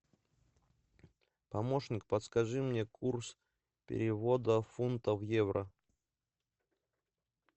помощник подскажи мне курс перевода фунта в евро